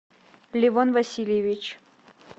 левон васильевич